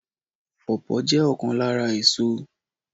Pawpaw jé òkan lára èso